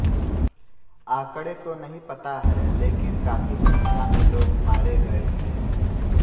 आंकड़े तो नहीं पता हैं लेकिन काफी संख्या में लोग मारे गए थे